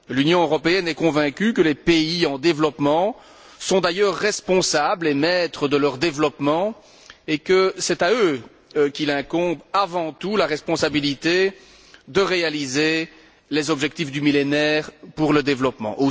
L'Union européenne est convaincue que les pays en développement sont d'ailleurs responsables et maîtres de leur développement et que c'est à eux qu'incombe avant tout la responsabilité de réaliser les objectifs du Millénaire pour le développement.